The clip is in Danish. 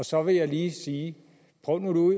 så vil jeg lige sige prøv nu